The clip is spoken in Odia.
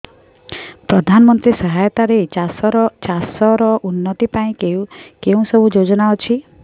ପ୍ରଧାନମନ୍ତ୍ରୀ ସହାୟତା ରେ ଚାଷ ର ଉନ୍ନତି ପାଇଁ କେଉଁ ସବୁ ଯୋଜନା ଅଛି